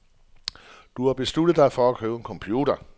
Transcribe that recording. Du har besluttet dig for at købe en computer.